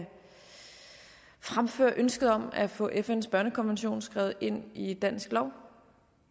fremføre ønsket om at få fns børnekonvention skrevet ind i dansk lov